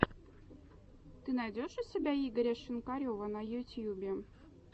ты найдешь у себя игоря шинкарева на ютьюбе